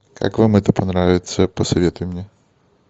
как вам это понравится посоветуй мне